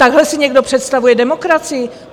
Takhle si někdo představuje demokracii?